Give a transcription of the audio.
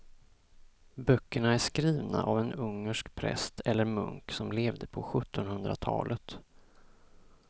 Böckerna är skrivna av en ungersk präst eller munk som levde på sjuttonhundratalet.